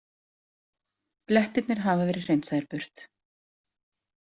Blettirnir hafa verið hreinsaðir burt.